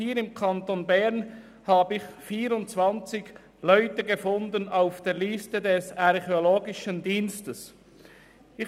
Hier im Kanton Bern habe ich auf der Liste des Archäologischen Dienstes 24 Leute gefunden.